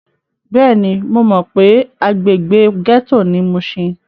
Bẹ́ẹ̀ni, mo mọ pé agbègbè gẹ́tò ni mushin.